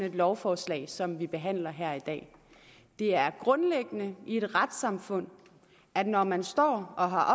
et lovforslag som det vi behandler her i dag det er grundlæggende i et retssamfund at når man står og har